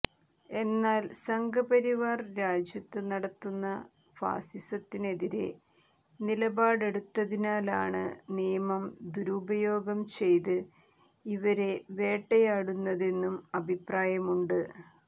എന്നാൽ സംഘപരിവാർ രാജ്യത്ത് നടത്തുന്ന ഫാസിസത്തിനെതിരെ നിലപാടെടുത്തതിനാലാണ് നിയമം ദുരുപയോഗം ചെയ്ത് ഇവരെ വേട്ടയാടുന്നതെന്നും അഭിപ്രായമുണ്ട്